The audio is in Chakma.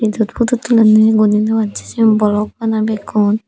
yot putut tulonne iguni jogasse sigun borof bana bekkun.